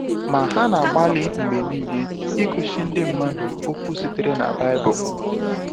Ma ha na-agbalị mgbe niile igosi ndị mmadụ okwu sitere na baịbụl.